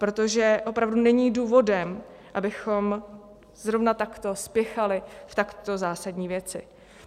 Protože opravdu není důvod, abychom zrovna takto spěchali v takto zásadní věci.